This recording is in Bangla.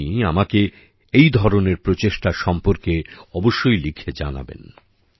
আপনি আমাকে এই ধরনের প্রচেষ্টা সম্পর্কে অবশ্যই লিখে জানাবেন